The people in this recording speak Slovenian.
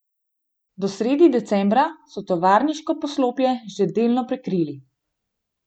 Do srede decembra so tovarniško poslopje že delno prekrili.